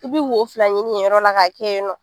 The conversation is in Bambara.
I bi wo fila ɲini yen yɔrɔ la ka kɛ yen nɔ.